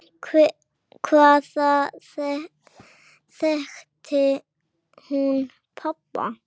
Hvaðan þekkti hún pabba?